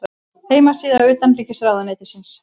Heimasíða utanríkisráðuneytisins.